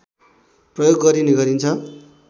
प्रयोग गरिने गरिन्छ